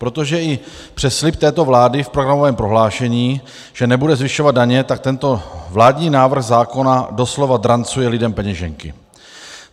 Protože i přes slib této vlády v programovém prohlášení, že nebude zvyšovat daně, tak tento vládní návrh zákona doslova drancuje lidem peněženky.